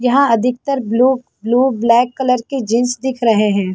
यहाँ अधिकतर blue blue black colour के जीन्स दिख रहे हैं ।